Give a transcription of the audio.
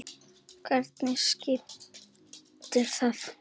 Hverju skiptir það?